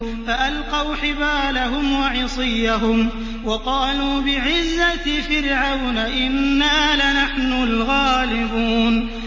فَأَلْقَوْا حِبَالَهُمْ وَعِصِيَّهُمْ وَقَالُوا بِعِزَّةِ فِرْعَوْنَ إِنَّا لَنَحْنُ الْغَالِبُونَ